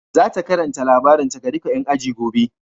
Za ta karanta labarinta ga duka ƴan ajin gobe.